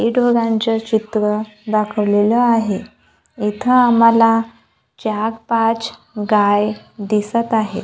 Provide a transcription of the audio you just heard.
हे दोघांच चित्र दाखवलेल आहे इथ आम्हाला चार पाच गाय दिसत आहे.